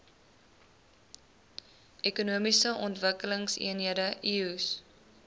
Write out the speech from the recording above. ekonomiese ontwikkelingseenhede eoes